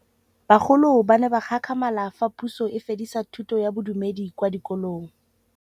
Bagolo ba ne ba gakgamala fa Pusô e fedisa thutô ya Bodumedi kwa dikolong.